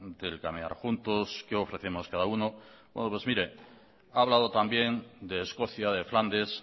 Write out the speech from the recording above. del caminar juntos qué ofrecemos cada uno mire ha hablado también de escocia de flandes